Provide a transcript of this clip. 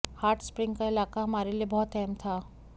hot spring का इलाका हमारे लिए बहुत अहम था